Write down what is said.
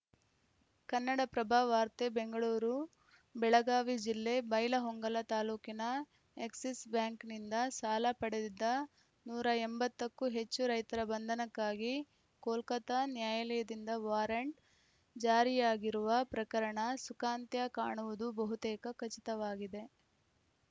ಕನ್ನಡಪ್ರಭ ವಾರ್ತೆ ಬೆಂಗಳೂರು ಬೆಳಗಾವಿ ಜಿಲ್ಲೆ ಬೈಲಹೊಂಗಲ ತಾಲೂಕಿನ ಎಕ್ಸಿಸ್‌ ಬ್ಯಾಂಕ್‌ನಿಂದ ಸಾಲ ಪಡೆದಿದ್ದ ನೂರ ಎಂಬತ್ತ ಕ್ಕೂ ಹೆಚ್ಚು ರೈತರ ಬಂಧನಕ್ಕಾಗಿ ಕೋಲ್ಕತಾ ನ್ಯಾಯಾಲಯದಿಂದ ವಾರಂಟ್‌ ಜಾರಿಯಾಗಿರುವ ಪ್ರಕರಣ ಸುಖಾಂತ್ಯ ಕಾಣುವುದು ಬಹುತೇಕ ಖಚಿತವಾಗಿದೆ